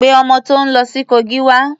Pé ọmọ tó ń lọ sí Kogi wá.